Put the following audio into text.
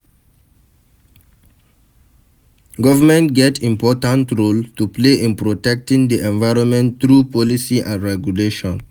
Government get important role to play in protecting di environment through policy and regulation.